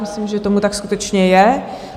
Myslím, že tomu tak skutečně je.